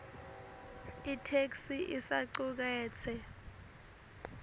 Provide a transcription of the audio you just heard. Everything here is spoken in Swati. itheksthi isacuketse